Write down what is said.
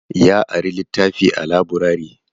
Ya ari littafi a laburare.